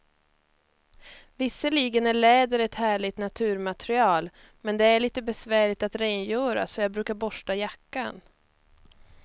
Visserligen är läder ett härligt naturmaterial, men det är lite besvärligt att rengöra, så jag brukar borsta jackan.